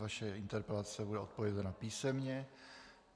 Vaše interpelace bude odpovězena písemně.